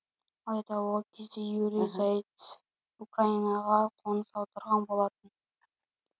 алайда ол кезде юрий зайцев украинаға қоныс аударған болатын